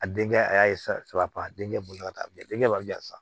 A denkɛ a y'a saba a denkɛ bolo ka taa bilen denkɛ b'a bila sa